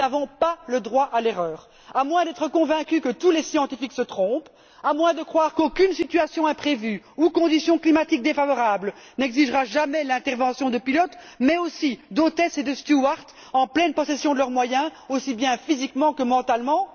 Nous n'avons pas le droit à l'erreur, à moins d'être convaincus que tous les scientifiques se trompent, à moins de croire qu'aucune situation imprévue ou condition climatique défavorable n'exigera jamais l'intervention de pilotes mais aussi d'hôtesses et de stewards en pleine possession de leurs moyens, aussi bien physiquement que mentalement.